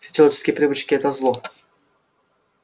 все человеческие привычки это зло